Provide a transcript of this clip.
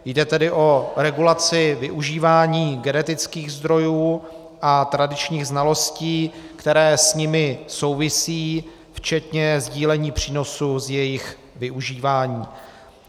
Jde tedy o regulaci využívání genetických zdrojů a tradičních znalostí, které s nimi souvisí, včetně sdílení přínosu z jejich využívání.